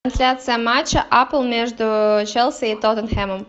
трансляция матча апл между челси и тоттенхэмом